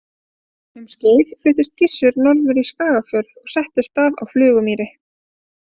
Um skeið fluttist Gissur norður í Skagafjörð og settist að á Flugumýri.